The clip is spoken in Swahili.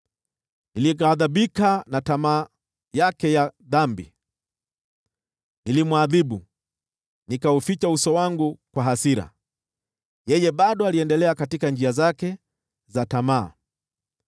Nilighadhibika na tamaa yake ya dhambi; nilimwadhibu, nikauficha uso wangu kwa hasira, na bado aliendelea katika njia zake za tamaa.